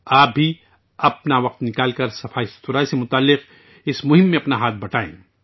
آپ بھی اپنا وقت نکالیں اور صفائی ستھرائی سے متعلق اس مہم میں اپنا ہاتھ بٹائیں